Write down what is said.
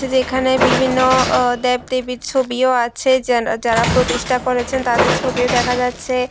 এখানে বিভিন্ন অ দেব-দেবীর ছবিও আছে যান যারা প্রতিষ্ঠা করেছেন তাদের ছবিও দেখা যাচ্ছে।